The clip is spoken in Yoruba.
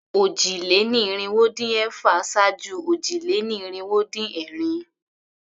Òjì-lé-ní-irinwó-dín-ẹ̀fà ṣáájú òjì-lé-ní-irinwó-dín-ẹ̀rin.